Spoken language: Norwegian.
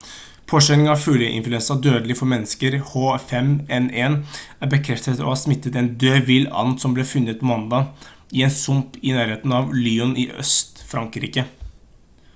påkjenning av fugleinfluensa dødelig for mennesker h5n1 er bekreftet å ha smittet en død vill-and som ble funnet på mandag i en sump i nærheten av lyon i øst-frankrike